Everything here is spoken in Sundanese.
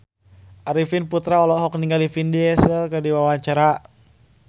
Arifin Putra olohok ningali Vin Diesel keur diwawancara